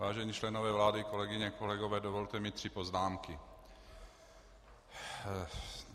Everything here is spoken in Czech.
Vážení členové vlády, kolegyně, kolegové, dovolte mi tři poznámky.